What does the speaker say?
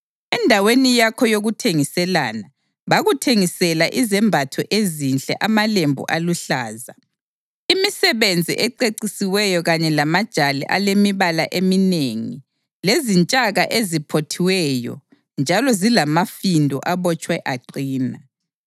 Endaweni yakho yokuthengiselana, bakuthengisela izembatho ezinhle, amalembu aluhlaza, imisebenzi ececisiweyo kanye lamajali alemibala eminengi lezintshaka eziphothiweyo njalo zilamafindo abotshwe aqina.